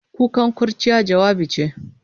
Kukan kurciya, jawabi ce.